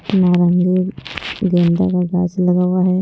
नारंगी गेंदा का ग्रास लगा हुआ है।